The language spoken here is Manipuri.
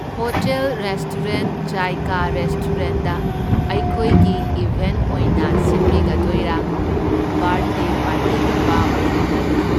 ꯍꯣꯇꯦꯜ ꯔꯦꯁꯇꯣꯔꯦꯟꯠ ꯖꯥꯏꯀꯥ ꯔꯦꯁꯇꯣꯔꯦꯟꯠꯗ ꯑꯩꯈꯣꯏꯒꯤ ꯏꯚꯦꯟꯠ ꯑꯣꯏꯅ ꯁꯤꯟꯕꯤꯒꯗꯣꯏꯔꯥ? ꯕꯥꯔꯠꯗꯦ ꯄꯥꯔꯇꯤꯒꯨꯝꯕ ꯑꯣꯏꯕꯤꯔꯕ꯭ꯔꯥ?